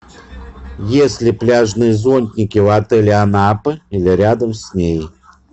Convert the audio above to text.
есть ли пляжные зонтики в отеле анапы или рядом с ней